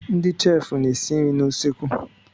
Ndị sheefụ na-esi nri n'usekwu.